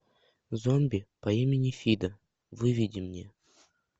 зомби по имени фидо выведи мне